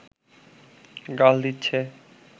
গাল দিচ্ছে